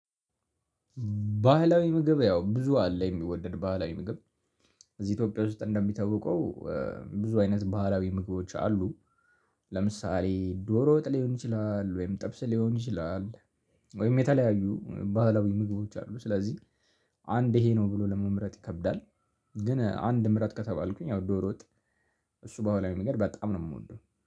ባህላዊ ምግብ ያው ብዙ አለ የሚወደድ ባህላዊ ምግብ። እዚህ ኢትዮጵያ ውስጥ እንደሚታወቀው ብዙ አይነት ባህላዊ ምግቦች አሉ። ለምሳሌ ዶሮ ወጥ ሊሆን ይችላል ወይም ጥብስ ሊሆን ይችላል። ወይም የተለያዩ ባህላዊ ምግቦች አሉ ስለዚህ አንድ ይሄ ነው ብሎ ለመምረጥ ይከብዳል። ግን አንድ ምረጥ ከተባልኩኝ ያው ዶሮ ወጥ። እሱ በኋላው መንገድ በጣም ነው የምወደው